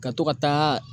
Ka to ka taa